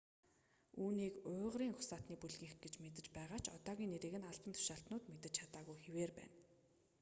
түүнийг уйгурын угсаатны бүлгийнх гэж мэдэж байгаа ч одоогоор нэрийг нь албан тушаалтнууд мэдэж чадаагүй хэвээр байна